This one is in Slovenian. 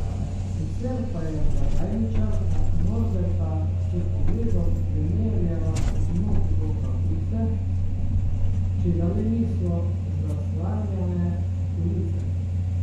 Sicer pa je blagajničarka Norberta s pogledom premerjala od nog do kapuce, če ga le niso zaslanjale police.